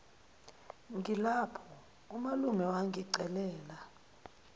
ngilapho umalume wangicelela